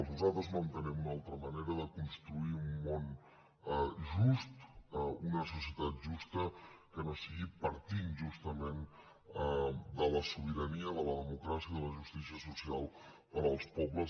nosaltres no entenem una altra manera de construir un món just una societat justa que no sigui partint justament de la sobirania de la democràcia de la justícia social per als pobles